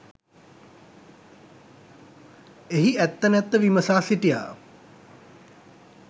එහි ඇත්ත නැත්ත විමසා සිටියා.